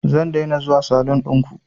Zan daina zuwa salun ɗinku